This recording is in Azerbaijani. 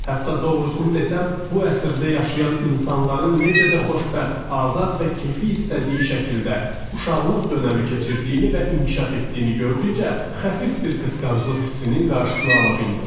Hətta doğrusunu desəm, bu əsrdə yaşayan insanların necə də xoşbəxt, azad və keyfi istədiyi şəkildə uşaqlıq dönəmi keçirdiyini və inkişaf etdiyini gördükcə xəfif bir qısqanclıq hissinin qarşısını ala bilmirəm.